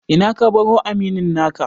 Ina ka baro aminin naka?